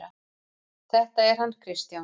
Þetta er hann Kristján.